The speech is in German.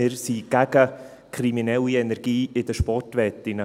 Wir sind gegen kriminelle Energie in den Sportwetten.